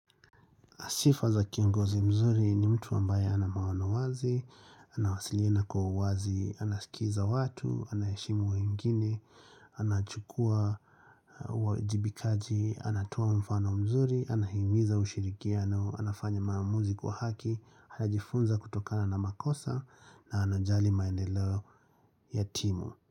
Sifa za kiongozi mzuri ni mtu ambaye ana maono wazi, anawasilina kwa uwazi, anasikiza watu, anaheshimu wengine, anachukua uajibikaji, anatoa mfano mzuri, anahimiza ushirikiano, anafanya maamuzi kwa haki, anajifunza kutokana na makosa na anajali maendeleo ya timu.